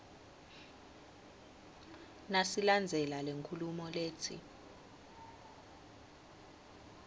nasilandzela lenkhulumo letsi